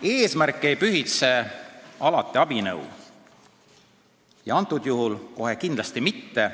Eesmärk ei pühitse alati abinõu ja praegusel juhul kohe kindlasti mitte.